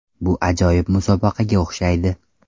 Bu ajoyib musobaqaga o‘xshaydi.